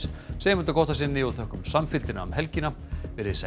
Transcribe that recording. segjum þetta gott að sinni og þökkum samfylgdina um helgina veriði sæl